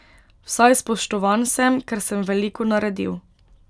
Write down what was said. Vsaj spoštovan sem, ker sem veliko naredil.